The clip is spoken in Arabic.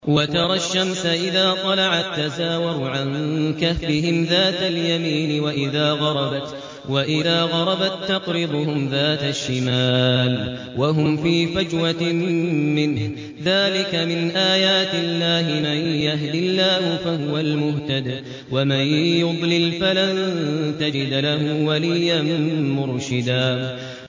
۞ وَتَرَى الشَّمْسَ إِذَا طَلَعَت تَّزَاوَرُ عَن كَهْفِهِمْ ذَاتَ الْيَمِينِ وَإِذَا غَرَبَت تَّقْرِضُهُمْ ذَاتَ الشِّمَالِ وَهُمْ فِي فَجْوَةٍ مِّنْهُ ۚ ذَٰلِكَ مِنْ آيَاتِ اللَّهِ ۗ مَن يَهْدِ اللَّهُ فَهُوَ الْمُهْتَدِ ۖ وَمَن يُضْلِلْ فَلَن تَجِدَ لَهُ وَلِيًّا مُّرْشِدًا